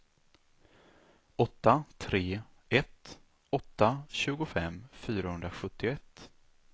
åtta tre ett åtta tjugofem fyrahundrasjuttioett